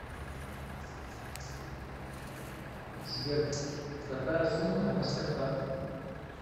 сбер какая сумма на мастеркард